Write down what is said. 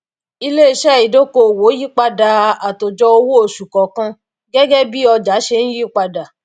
iléiṣẹ ìdokoowó yípadà àtòjọ owó oṣù kọọkan gẹgẹ bí ọjà ṣe ń yípadà